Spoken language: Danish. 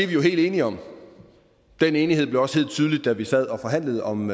jo helt enige om den enighed blev også helt tydelig da vi sad og forhandlede om